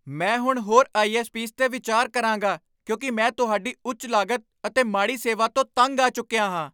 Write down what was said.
ਮੈਂ ਹੁਣ ਹੋਰ ਆਈ.ਐੱਸ.ਪੀਜ਼ 'ਤੇ ਵਿਚਾਰ ਕਰਾਂਗਾ ਕਿਉਂਕਿ ਮੈਂ ਤੁਹਾਡੀ ਉੱਚ ਲਾਗਤ ਅਤੇ ਮਾੜੀ ਸੇਵਾ ਤੋਂ ਤੰਗ ਆ ਚੁੱਕਿਆ ਹਾਂ।